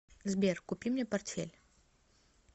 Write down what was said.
сбер купи мне портфель